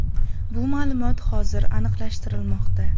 “Bu ma’lumot hozir aniqlashtirilmoqda.